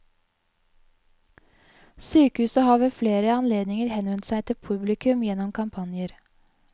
Sykehuset har ved flere anledninger henvendt seg til publikum gjennom kampanjer.